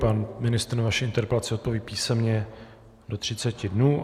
Pan ministr na vaši interpelaci odpoví písemně do 30 dnů.